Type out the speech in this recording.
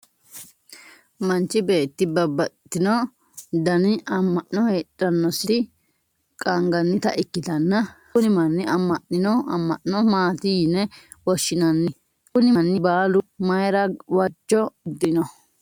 manchi beetti babbaxitino dani amma'no heedhanositi qaangannita ikkitanna kuni manni amma'nino amma'no maati yine woshshinanni? kuni manni baalu mayiira waajjo uddirino?